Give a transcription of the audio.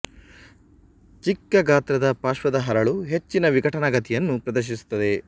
ಚಿಕ್ಕ ಗಾತ್ರದ ಪಾರ್ಶ್ವದ ಹರಳು ಹೆಚ್ಚಿನ ವಿಘಟನಾ ಗತಿಯನ್ನು ಪ್ರದರ್ಶಿಸುತ್ತದೆ